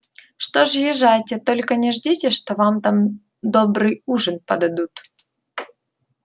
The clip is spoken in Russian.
что ж езжайте только не ждите что вам там добрый ужин подадут